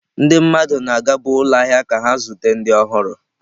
Ndị mmadụ na-agabu ụlọ ahịa ka ha zute ndị ọhụrụ.